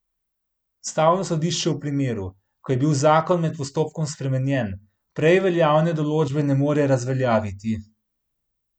Ustavno sodišče v primeru, ko je bil zakon med postopkom spremenjen, prej veljavne določbe ne more razveljaviti.